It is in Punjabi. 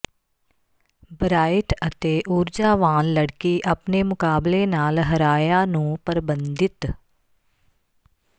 ਬ੍ਰਾਇਟ ਅਤੇ ਊਰਜਾਵਾਨ ਲੜਕੀ ਆਪਣੇ ਮੁਕਾਬਲੇ ਨਾਲ ਹਰਾਇਆ ਨੂੰ ਪਰਬੰਧਿਤ